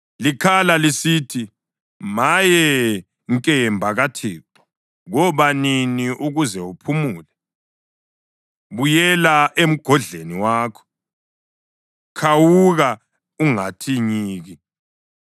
Likhala lisithi, ‘Maye, nkemba kaThixo, koba nini ukuze uphumule? Buyela emgodleni wakho; khawuka ungathi nyiki.’